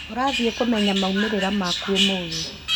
ũrathiĩ kũmenya maumĩrĩra maku ũmũthĩ